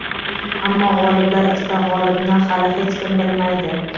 Ammo g‘oliblar ichida g‘olibni hali hech kim bilmaydi.